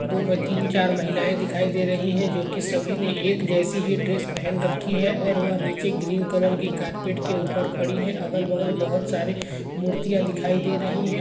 दो में तीन चार महिलाएं दिखाई दे रही हैं जो कि सभी ने एक जैसी ही ड्रेस पहन रखी है और वह नीचे ग्रीन कलर की कारपेट के ऊपर खड़ी हैं। अगल बगल बहोत सारे मूर्तियां दिखाई दे रही हैं।